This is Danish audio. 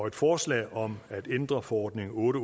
et forslag om at ændre forordning otte